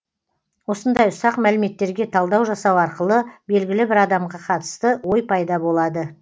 осындай ұсақ мәліметтерге талдау жасау арқылы белгілі бір адамға қатысты ой пайда болады